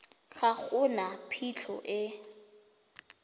ga go na phitlho e